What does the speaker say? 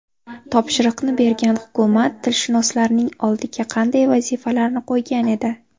Topshiriqni bergan hukumat tilshunoslarning oldiga qanday vazifalarni qo‘ygan edi?